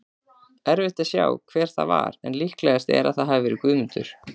Erfitt að sjá hver það var en líklegast er að það hafi verið Guðmundur.